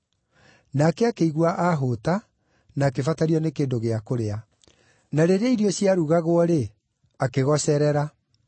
Nake akĩigua aahũũta na akĩbatario nĩ kĩndũ gĩa kũrĩa, na rĩrĩa irio ciarugagwo-rĩ, akĩgocerera.